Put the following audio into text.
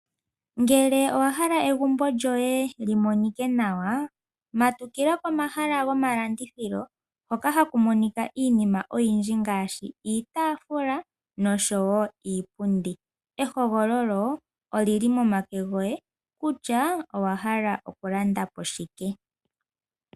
Ngele owa hala egumbo lyoye li monike nawa, matukila komahala gomalandithilo hoka haku monika iinima oyindji ngaashi iitaafula nosho wo iipundi. Ehogololo oli li momake goye kutya owa hala okulanda po shike.